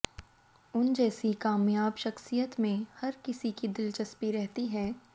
उन जैसी कामयाब शख्सियत में हर किसी की दिलचस्पी रहती है